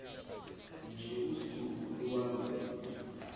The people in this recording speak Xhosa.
nje usuku iwalunye